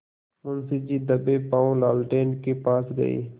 मुंशी जी दबेपॉँव लालटेन के पास गए